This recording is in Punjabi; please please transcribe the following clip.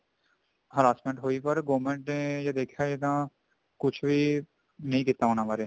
harassment ਹੋਈ ਜੇ government ਨੂੰ ਦੇਖਿਆ ਜਾਵੇ ਤਾਂ ਕੁੱਝ ਵੀ ਨਹੀਂ ਕੀਤਾ ਉਹਨਾ ਬਾਰੇ